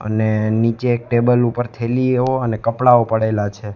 અને નીચે એક ટેબલ ઉપર થેલીઓ અને કપડાઓ પડેલા છે.